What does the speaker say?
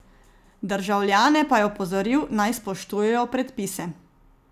Državljane pa je opozoril, naj spoštujejo predpise.